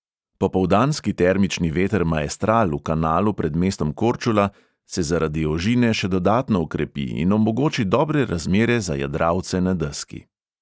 Popoldanski termični veter maestral v kanalu pred mestom korčula se zaradi ožine še dodatno okrepi in omogoči dobre razmere za jadralce na deski.